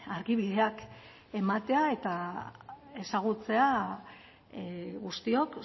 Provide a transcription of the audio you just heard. argibideak ematea eta ezagutzea guztiok